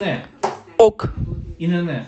ок